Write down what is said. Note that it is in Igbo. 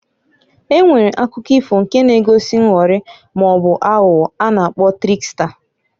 E nwere akụkọ ifo nke na-egosi nghọrị maọbụ aghụghọ a na-akpọ triksta.